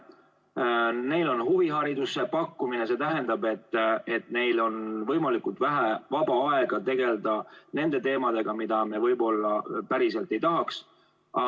Kui neile on huviharidust pakutud, siis see tähendab, et neil on võimalikult vähe vaba aega tegelda nende teemadega, millega nad võib-olla meie arvates päriselt ei peaks tegelema.